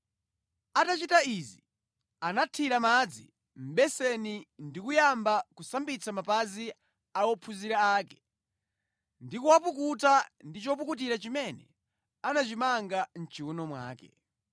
Atachita izi, anathira madzi mʼbeseni ndi kuyamba kusambitsa mapazi a ophunzira ake, ndi kuwapukuta ndi chopukutira chimene anachimanga mʼchiwuno mwake.